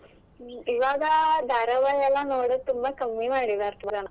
ಇವಾಗ ಧಾರಾವಾಹಿ ಎಲ್ಲಾ ನೋಡೊದು ತುಂಬಾ ಕಮ್ಮಿ ಮಾಡಿದರೆ ಜನ.